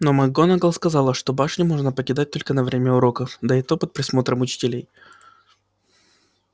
но макгонагалл сказала что башню можно покидать только на время уроков да и то под присмотром учителей